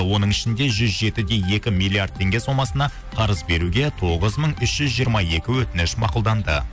оның ішінде жүз жеті де екі миллиард теңге сомасына қарыз беруге тоғыз мың үш жүз жиырма екі өтініш мақұлданды